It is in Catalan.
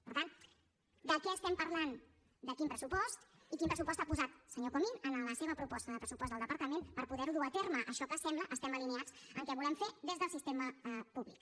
per tant de què estem parlant de quin pressupost i quin pressupost ha posat senyor comín en la seva proposta de pressupost del departament per poder ho dur a terme això que sembla que estem alineats que ho volem fer des del sistema públic